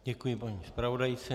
Děkuji paní zpravodajce.